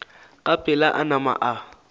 ka pela a nama a